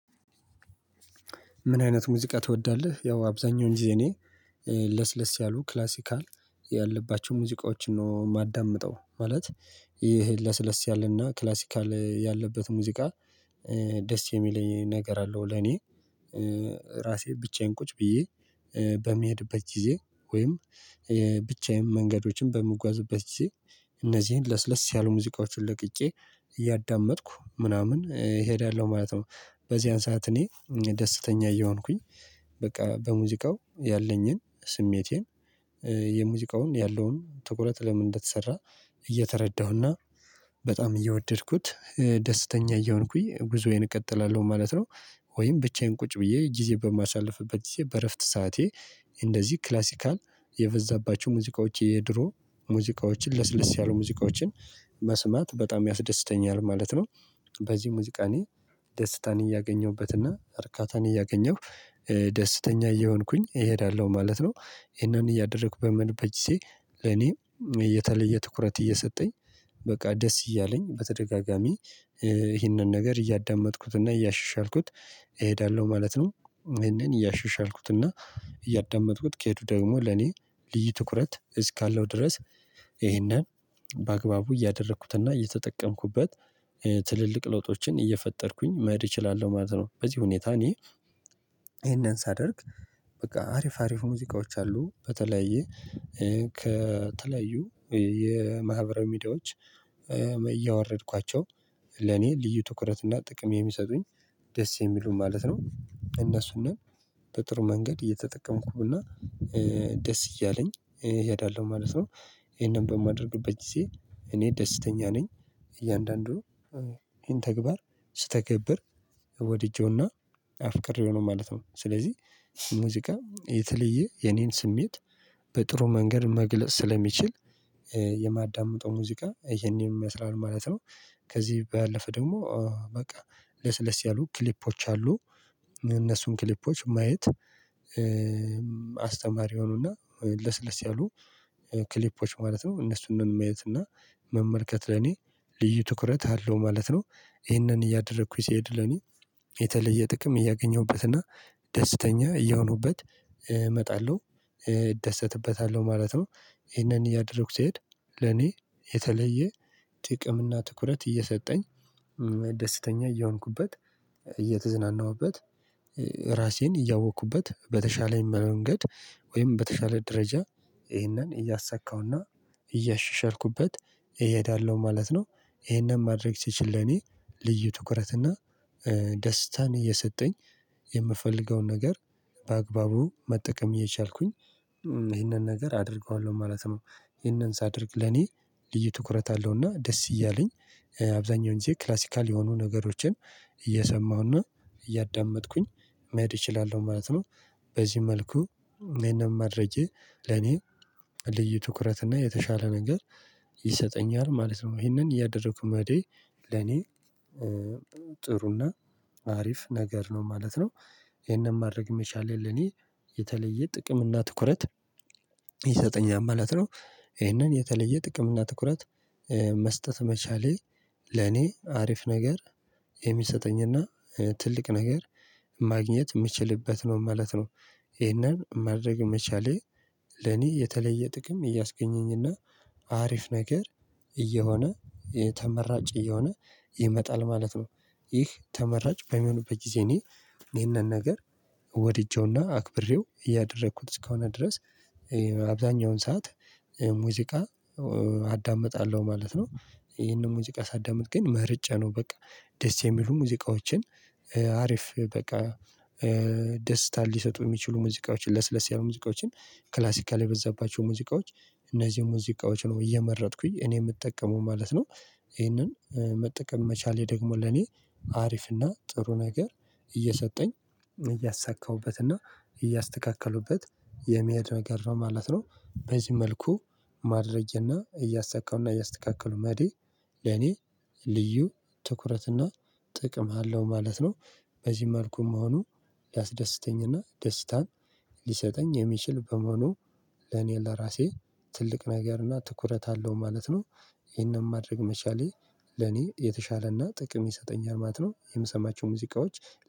ምን አይነት ሙዚቃ ትወዳለህ? ያው አብዛኛው ጊዜ እኔ ለስለስ ያሉ ክላሲካል ያለባቸው ሙዚቃዎችን ነው የማዳምጠው። ማለት ይሄ ለስለስ ያለና ክላሲካል ያለበት ሙዚቃ ደስ የሚለኝ ነገር አለው። ለኔ ራሴ ብቻዬን ቁጭ ብዬ በሚሄድበት ጊዜ ወይም ብቻዬን መንገዶችን በምጓዝበት ጊዜ እነዚህን ለስለስ ያሉ ሙዚቃዎችን ለቅጬ እያዳመጥኩ ምናምን እሄዳለሁ ማለት ነው። በዚያን ሰዓት እኔ ደስተኛ እየሆንኩኝ በቃ በሙዚቃው ያለኝን ስሜቴን የሙዚቃውን ያለውን ትኩረት ለምን እንደተሰራ እየተረዳሁና በጣም እየወደድኩት ደስተኛ እየሆንኩኝ ጉዞዬን እቀጥላለሁ ማለት ነው። ወይም ብቻዬን ቁጭ ብዬ ጊዜ በማሳልፍበት ጊዜ በእረፍት ሰዓቴ እንደዚህ ክላሲካል የበዛባቸው ሙዚቃዎች የድሮ ሙዚቃዎችን ለስለስ ያሉ ሙዚቃዎችን መስማት በጣም ያስደስተኛል ማለት ነው። በዚህ ሙዚቃ እኔ ደስታን እያገኘሁበት እና እርካታን እያገኘሁ ደስተኛ እየሆንኩኝ እሄዳለሁ ማለት ነው። ይሄንን እያደረኩ በምን በጅሴ እኔ የተለየ ትኩረት እየሰጠኝ በቃ ደስ እያለኝ በተደጋጋሚ ይህንን ነገር እያዳመጥኩትና እያሻሻልኩት እሄዳለሁ ማለት ነው። ይህንን እያሻሻልኩትና እያዳመጥኩት ከሄድኩ ደግሞ ለኔ ልዩ ትኩረት እስካለው ድረስ ይሄንን በአግባቡ እያደረኩትና እየተጠቀምኩበት ትልልቅ ለውጦችን እየፈጠርኩኝ መሄድ እችላለሁ ማለት ነው። በዚህ ሁኔታ እኔ ይሄንን ሳደርግ በቃ አሪፍ አሪፍ ሙዚቃዎች አሉ በተለያየ ከተለያዩ የማህበራዊ ሚዲያዎች እያወረድኳቸው ለኔ ልዩ ትኩረት እና ጥቅም የሚሰጡኝ ደስ የሚሉኝ ማለት ነው። እነሱንም በጥሩ መንገድ እየተጠቀምኩ እና ደስ እያለኝ እሄዳለሁ ማለት ነው። ይሄንን በማደርግበት ጊዜ እኔ ደስተኛ ነኝ። እያንዳንዱ ይሄን ተግባር ስተገብር ወድጄውና አፍቅሬው ነው ማለት ነው። ስለዚህ ሙዚቃ የተለየ የኔን ስሜት በጥሩ መንገድ መግለጽ ስለሚችል የማዳምጠው ሙዚቃ ይሄንን ይመስላል ማለት ነው። ከዚህ ባለፈ ደግሞ በቃ ለስለስ ያሉ ክሊፖች አሉ። እነሱም ክሊፖች ማየት ሆኖና ለስለስ ያሉ ክሊፖች ማለት ነው እነሱንም ማየት እና መመልከት ለኔ ልዩ ትኩረት አለው ማለት ነው። ይህንን እያደረኩኝ ሲሄድ ለኔ የተለየ ጥቅም እያገኘሁበትና ደስተኛ እየሆንኩበት እመጣለሁ እደሰትበታለሁ ማለት ነው። ይሄንን እያደረኩ ስሄድ ለኔ የተለየ ጥቅም እና ትኩረት እየሰጠኝ ደስተኛ እየሆንኩበት እየተዝናናሁበት ራሴን እያወቅኩበት በተሻለኝ መንገድ ወይም በተሻለ ደረጃ ይሄንን እያሳካውና እየሻሻልኩት እሄዳለሁ ማለት ነው። ይሄንን ማድረግ ስችል ለኔ ልዩ ትኩረት እና ደስታን እየሰጠኝ የምፈልገውን ነገር በአግባቡ መጠቀም የቻልኩኝ ይህንን ነገር አደርገዋለሁ ማለት ነው። ይሄንን ሳደርግ ለኔ ልዩ ትኩረት አለው እና ደስ እያለኝ አብዛኛው እንጂ ክላሲካል የሆኑ ነገሮችን እየሰማሁና እያዳመጥኩኝ መሄድ እችላለሁ ማለት ነው። በዚህ መልኩ እኔንም ማድረጌ ለኔ ልዩ ትኩረት እና የተሻለ ነገር ይሰጠኛል ማለት ነው። ይሄንን እያደረኩ መሄዴ ለኔ ጥሩና አሪፍ ነገር ነው ማለት ነው። ይሄንን ማድረግ የሚሻለኝ ለኔ የተለየ ጥቅም እና ትኩረት ይሰጠኛል ማለት ነው። ይሄንን የተለየ ጥቅም እና ትኩረት መስጠት መቻሌ ለኔ አሪፍ ነገር የሚሰጠኝና ትልቅ ነገር ማግኘት የምችልበት ነው ማለት ነው። ይህንን ማድረግ መቻሌ ለኔ የተለየ ጥቅም እያስገኘኝና አሪፍ ነገር እየሆነ ተመራጭ እየሆነ ይመጣል ማለት ነው። ይህ ተመራጭ በሚሆኑበት ጊዜ እኔ ይሄንን ነገር ወድጄውና አክብሬው እያደረኩት እስከሆነ ድረስ አብዛኛውን ሰዓት ሙዚቃ አዳምጣለሁ ማለት ነው። ይሄንን ሙዚቃ ሳዳምጥ ግን ምርጫ ነው በቃ ደስ የሚሉ ሙዚቃዎችን አሪፍ በቃ ደስታ ሊሰጡ የሚችሉ ሙዚቃዎችን ለስለስ ያሉ ሙዚቃዎችን ክላሲካል የበዛባቸው ሙዚቃዎች እነዚህ ሙዚቃዎች ነው እየመረጥኩኝ እኔ የምጠቀመው ማለት ነው። ይሄንን መጠቀም መቻሌ ደግሞ ለኔ አሪፍ እና ጥሩ ነገር እየሰጠኝ እያሳካሁበት እና እያስተካከሉበት የሚያድረግ ነው ማለት ነው። በዚህ መልኩ ማድረግና እያሳካው እያስተካከሉ መዲ ለኔ ልዩ ትኩረትና ጥቅም አለው ማለት ነው። በዚህ መልኩ መሆኑ ሊያስደስተኝ እና ደስታን ሊሰጠኝ የሚችል በመሆኑ ለኔ ለራሴ ትልቅ ነገር እና ትኩረት አለው ማለት ነው። ይሄንን ማድረግ መቻሌ ለኔ የተሻለና ጥቅም ይሰጠኛል ማለት ነው። የምሰማቸው ሙዚቃዎች